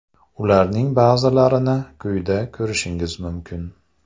Ularning ba’zilarini quyida ko‘rishingiz mumkin.